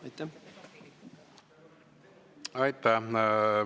Aitäh!